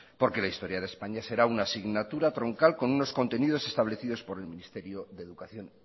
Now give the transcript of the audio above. porque la historia de españa será una asignatura troncal con unos contenidos establecidos por el ministerio de educación